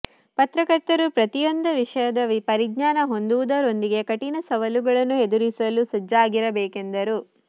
ಪತ್ರಕರ್ತರು ಪ್ರತಿಯೊಂದ ವಿಷಯದ ಪರಿಜ್ಞಾನ ಹೊಂದುವುದರೊಂದಿಗೆ ಕಠಿಣ ಸವಾಲುಗಳನ್ನು ಎದುರಿಸಲು ಸಜ್ಜಾಗಿರಬೇಕೆಂದರು